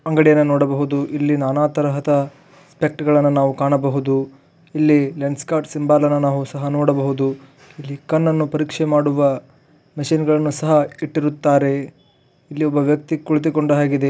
ಅಂಗಡಿಯನ್ನು ನೋಡಬಹುದು ನಾನಾತರಹದ ಸ್ಪೆಕ್ಟ್ ಗಳನ್ನೂ ನಾವು ಕಾಣಬಹುದು ಇಲ್ಲಿ ಲೆನ್ಸ್ ಕಾರ್ಟ್ ಬೋರ್ಡ್ ಅನ್ನು ಸಹ ನೋಡಬಹುದು ಇಲ್ಲಿ ಕಣ್ಣ ಅನ್ನು ಪರೀಕ್ಷೆ ಮಾಡಾಯಿಸಲು ಬರುತ್ತಾರೆ ಇಲ್ಲಿ ಒಬ್ಬಾ ವ್ಯಕ್ತಿಯನ್ನು ಸಹ ನೋಡಬಹುದು.